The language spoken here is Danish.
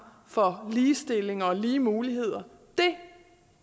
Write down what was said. for ligestilling og lige muligheder